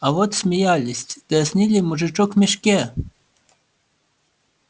а вот смеялись дразнили мужичок в мешке